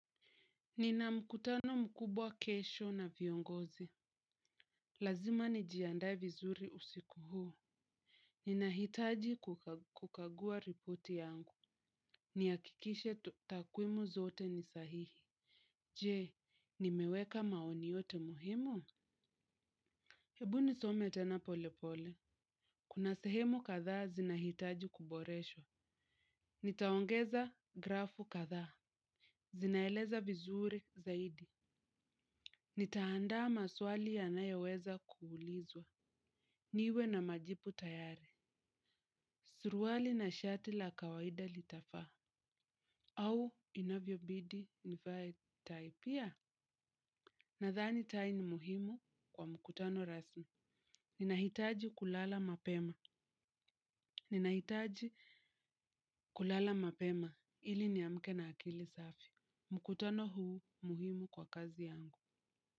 Nina mkutano mkubwa kesho na viongozi. Lazima nijiandae vizuri usiku huo. Ninahitaji kukagua ripoti yangu. Niakikishe takwimu zote ni sahihi. Je, nimeweka maoni yote muhimu? Hebu nisome tena polepole. Kuna sehemu kadhaa zinahitaji kuboreshwa. Nitaongeza grafu katha. Zinaeleza vizuri zaidi. Nitaandaa maswali ya nayoweza kuulizwa. Niwe na majipu tayari. Suruwali na shati la kawaida litafaa. Au inavyo bidi nivaye taipia. Nadhani tai ni muhimu kwa mkutano rasmi. Ninahitaji kulala mapema. Ninahitaji kulala mapema ili ni amke na akili safi. Mkutano huu muhimu kwa kazi yangu.